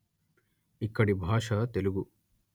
ఇక్కడి భాష తెలుగు